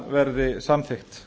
verði samþykkt